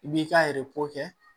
I b'i ka kɛ